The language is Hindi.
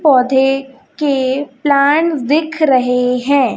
पौधे के प्लांट्स दिख रहे हैं।